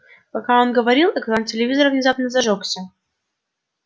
пока он говорил экран телевизора внезапно зажёгся